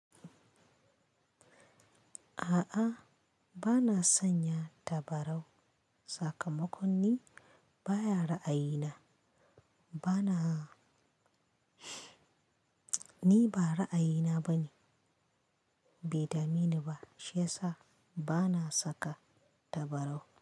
A'a, bana sanya tabarau. A'a, bana sanya tabarau. Bana, ni ba ra'ayina bane, bai dameni ba. Shiyasa bana saka tabarau.